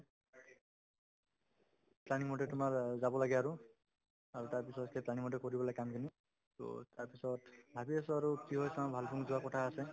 planning মতে তোমাৰ অ যাব লাগে আৰু আৰু তাৰপিছত সেই planning তে কৰিব লাগে কামখিনি to তাৰপিছত ভাবি আছো আৰু কি হয় চাওঁ ভালুকপুং যোৱাৰ কথা আছে